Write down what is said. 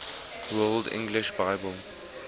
world english bible